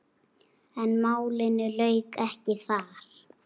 En málinu lauk ekki þar.